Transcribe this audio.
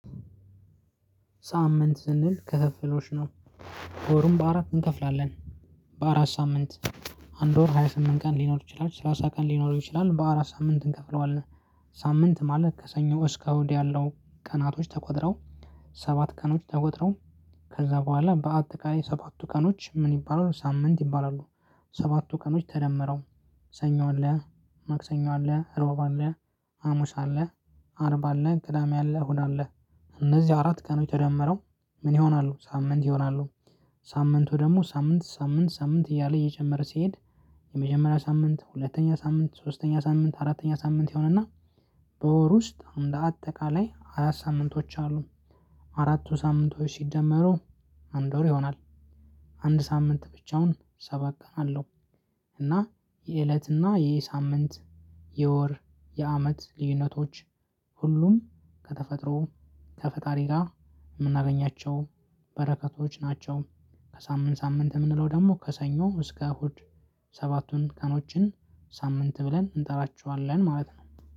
ሳምንት ስንል ክፍፍሎሽ ነው። ወሩን በአራት እንከፍላለን በአራት ሳምንት። አንድ ወር ሃያ ስምንት ቀን ሊኖር ይችላል ሰላሳ ቀን ሊኖረው ይችላል በአራት ሳምንት እንከፍለዋለን። ሳምንት ማለት ከሰኞ እስከ እሁድ ያለው ቀናቶች ተቆጥረው ሰባት ቀኖች ተቆጥረው ከዛ በኋላ በአጠቃላይ ሰባቱ ቀኖች ምን ይባላሉ ሳምንት ይባላሉ። ሰባቱ ቀኖች ተደመረው ሰኞ አለ ማክሰኞ አለ ሮብ አለ ሀሙስ አለ አርብ አለ ቅዳሜ አለ እሁድ አለ። እነዚህ አራት ቀኖች ተደምረው ምን ይሆናሉ ሳምንት ይሆናሉ። ሳምንቱ ደግሞ ሳምንት ሳምንት ሳምንት እያለ እየጨመረ ሲሄድ። የመጀመሪያ ሳምንት ሁለተኛ ሳምንት ሶስተኛ ሳምንት አራተኛ ሳምንት ይሆንና። በወር ውስጥ አንደ አጠቃላይ አራት ሳምንቶች አሉ። አራቱ ሳምንቶች ሲደመሩ አንድ ወር ይሆናል። አንድ ሳምንት ብቻውን ሰባት ቀን አለው። እና የእለትና የሳምንት የወር የአመት ልዩነቶች። ሁሉም ከተፈጥሮ ከፈጣሪ ጋር የምናገኛቸው በረከቶች ናቸው። ከሳምንት ሳምንት የምንለው ደግሞ ከሰኞ እስከ እሁድ። ሰባቱን ቀኖችን ሳምንት ብለን እንጠራቸዋለን ማለት ነው።